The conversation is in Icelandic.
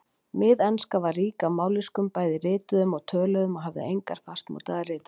Miðenska var rík af mállýskum, bæði rituðum og töluðum, og hafði engar fastmótaðar ritreglur.